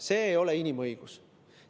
See ei ole inimõigus.